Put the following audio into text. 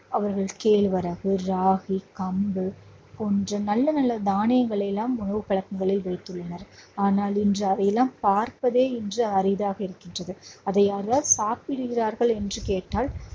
அவர்கள் கேழ்வரகு, ராகி, கம்பு போன்ற, நல்ல நல்ல தானியங்களை எல்லாம் உணவு பழக்கங்களில் வைத்துள்ளனர். ஆனால் இன்று அவையெல்லாம் பார்ப்பதே இன்று அரிதாக இருக்கின்றது அதை யாராவது சாப்பிடுகிறார்கள் என்று கேட்டால்